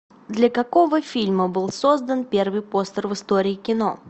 для какого фильма был создан первый постер в истории кино